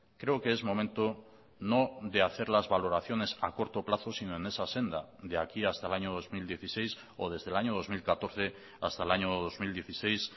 creo que es momento no de hacer las valoraciones a corto plazo sino en esa senda de aquí hasta el año dos mil dieciséis o desde el año dos mil catorce hasta el año dos mil dieciséis